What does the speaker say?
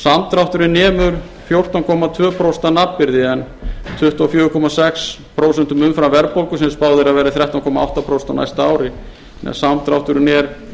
samdrátturinn nemur fjórtán komma tvö prósent að nafnvirði en tuttugu og fjögur komma sex prósent umfram verðbólgu sem spáð er að verði þrettán komma átta prósent á næsta ári meðan samdrátturinn er